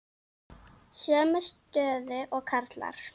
Sömu stöðu og karlar.